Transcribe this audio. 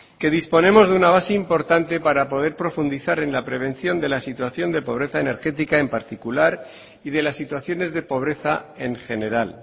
que disponemos de una base importante para poder profundizar en la prevención de la situación de pobreza energética en particular y de las situaciones de pobreza en general